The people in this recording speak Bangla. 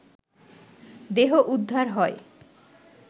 দেহ উদ্ধার হয়